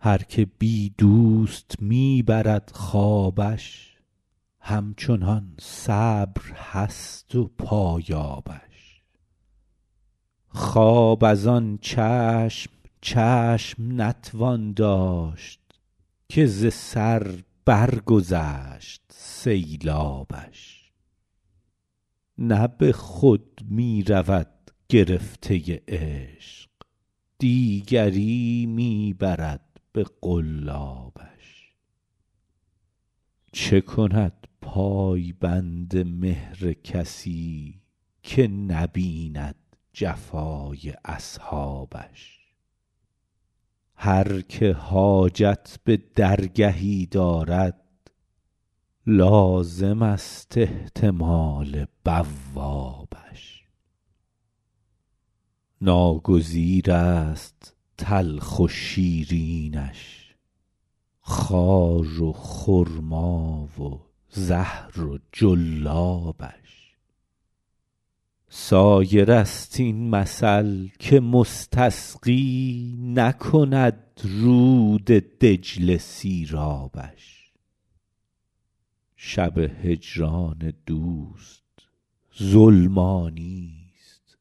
هر که بی دوست می برد خوابش همچنان صبر هست و پایابش خواب از آن چشم چشم نتوان داشت که ز سر برگذشت سیلابش نه به خود می رود گرفته عشق دیگری می برد به قلابش چه کند پای بند مهر کسی که نبیند جفای اصحابش هر که حاجت به درگهی دارد لازمست احتمال بوابش ناگزیرست تلخ و شیرینش خار و خرما و زهر و جلابش سایرست این مثل که مستسقی نکند رود دجله سیرابش شب هجران دوست ظلمانیست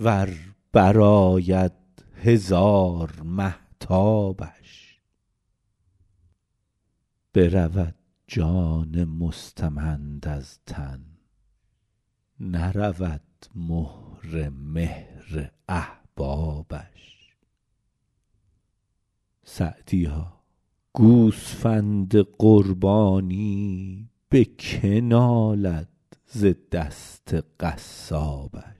ور برآید هزار مهتابش برود جان مستمند از تن نرود مهر مهر احبابش سعدیا گوسفند قربانی به که نالد ز دست قصابش